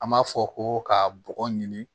An b'a fɔ ko ka bɔgɔ ɲini